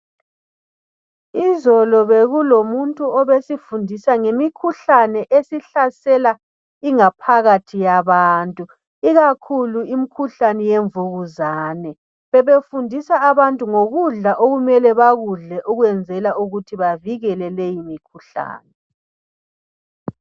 Izolo bekulomuntu obesifundisa ngemikhuhlane esihlasela ingaphakathi yabantu ikakhulu imikhuhlane yemvukuzane bebefundisa abantu ngokudla okumele bakudle ukwenzela ukuthi bavikele leyi mikhuhlane.